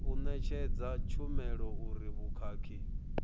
u ṋetshedza tshumelo uri vhukhakhi